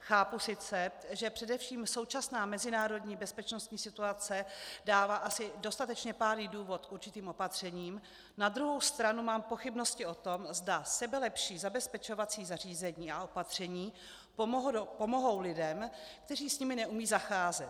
Chápu sice, že především současná mezinárodní bezpečnostní situace dává asi dostatečně pádný důvod k určitým opatřením, na druhou stranu mám pochybnosti o tom, zda sebelepší zabezpečovací zařízení a opatření pomohou lidem, kteří s nimi neumějí zacházet.